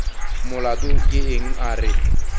molato ke eng a re